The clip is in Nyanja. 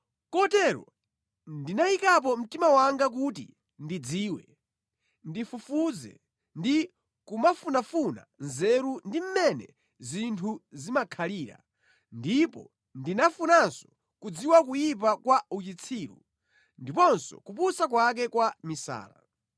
Kotero ndinayikapo mtima wanga kuti ndidziwe, ndifufuze ndi kumafunafuna nzeru ndi mmene zinthu zimakhalira ndipo ndinafunanso kudziwa kuyipa kwa uchitsiru ndiponso kupusa kwake kwa misala.